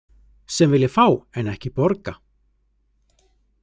Sem vilja fá en ekki borga.